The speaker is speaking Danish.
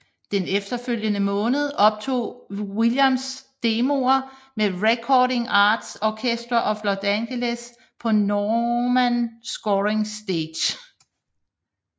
Den efterfølgende måned optog Williams demoer med Recording Arts Orchestra of Los Angeles på Newman Scoring Stage